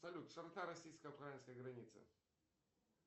салют широта российско украинской границы